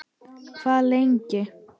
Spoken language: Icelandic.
Hvað lengi.